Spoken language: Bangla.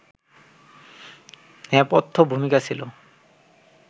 নেপথ্য-ভূমিকা ছিল